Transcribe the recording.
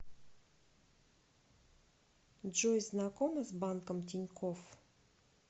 джой знакома с банком тинькофф